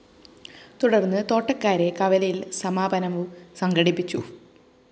തുടര്‍ന്ന് തോട്ടക്കാട്ടുകര കവലയില്‍ സമാപനവും സംഘടിപ്പിച്ചു